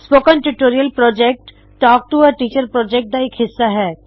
spoken tutorial project talk to a teacher project ਦਾ ਇਕ ਹਿੱਸਾ ਹੈ